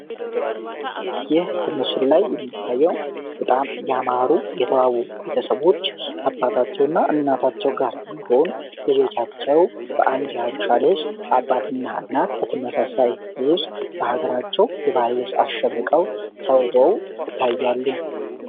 ይህ በመስሉ ላይ የሚታየው በጣም ያማሩ የተዋቡ ቤተሰቦች አባታቸው እና እናታቸው ጋር በመሆን ለጆቻቸው በአንድ የአሻ ልፍስ አባትና እናት በተመሳሳይ ልብስ በሀገራቸው የባህል ልብስ አሸብርቀው ተውበው ታያሉ።